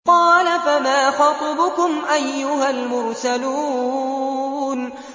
قَالَ فَمَا خَطْبُكُمْ أَيُّهَا الْمُرْسَلُونَ